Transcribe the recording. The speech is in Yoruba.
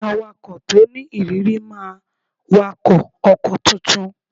Awakọ̀ to ni ìrírí máa wakọ̀ ọkọ̀ tuntun